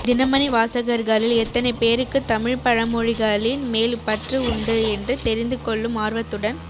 தினமணி வாசகர்களில் எத்தனை பேருக்கு தமிழ் பழமொழிகளின் மேல் பற்று உண்டு என்று தெரிந்து கொள்ளும் ஆர்வத்துடன்